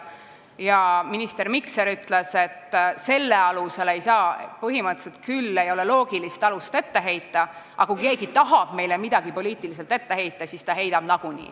Ja minister Mikser ütles, et see ei ole küll põhimõtteliselt loogiline alus millegi etteheitmiseks, aga kui keegi tahab meile midagi poliitiliselt ette heita, siis ta heidab nagunii.